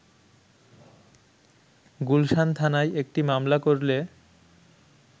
গুলশান থানায় একটি মামলা করলে